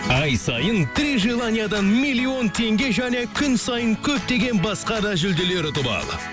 ай сайын три желаниядан миллион теңге және күн сайын көптеген басқа да жүлделер ұтып ал